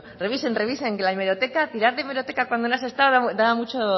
revisen revisen que tirar de hemeroteca cuando no se ha estado da mucho